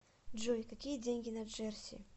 джой какие деньги на джерси